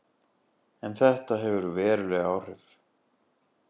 En þetta hefur veruleg áhrif.